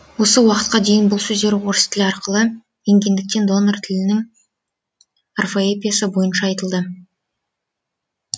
осы уақытқа дейін бұл сөздер орыс тілі арқылы енгендіктен донор тілінің орфоэпиясы бойынша айтылды